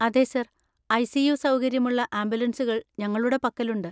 അതെ sir! ICU. സൗകര്യമുള്ള ആംബുലൻസുകൾ ഞങ്ങളുടെ പക്കലുണ്ട്.